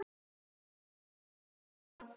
Fer ekki til dyra.